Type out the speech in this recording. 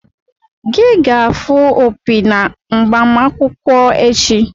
Gị ga-afụ opi na agbamakwụkwọ echi!